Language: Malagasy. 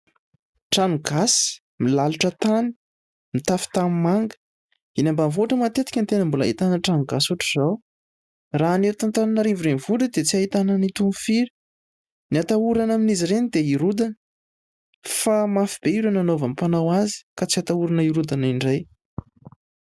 Trano gasy milalotra tany, mitafo tanimanga. Eny ambanivohitra matetika no tena mbola ahitana trano gasy ohatran'izao ; raha ny eto Antananarivo renivohitra dia tsy ahitana an'itony firy, ny hatahorana amin'izy ireny dia hirodana fa mafy be ireo nanaovan'ny mpanao azy ka tsy hatahorana hirodana indray.